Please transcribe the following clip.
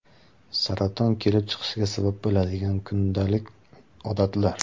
Saraton kelib chiqishiga sabab bo‘ladigan kundalik odatlar.